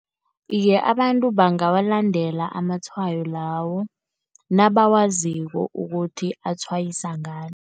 Iye, abantu bangawalandela amatshwayo lawo, nabawaziko ukuthi atshwayisa ngani.